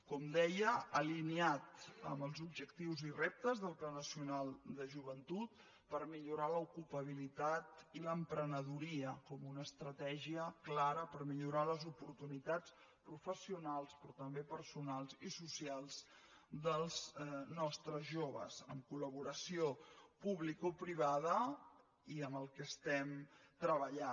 com deia alineat amb els objectius i reptes del pla nacional de joventut per millorar l’ocupabilitat i l’emprenedoria com una estratègia clara per millorar les oportunitats professionals però també personals i socials dels nostres joves amb col·laboració publicoprivada i amb el qual estem treballant